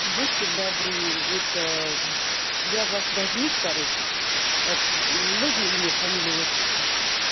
будьте добры это я ваш должник короче это можно имя фамилия отчество